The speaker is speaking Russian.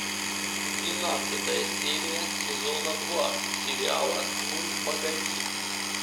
двенадцатая серия сезона два сериала ну погоди